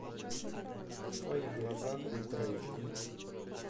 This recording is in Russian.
в твоих глазах ультра эйч ди